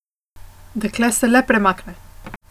Dekle se le premakne.